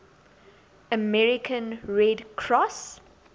american red cross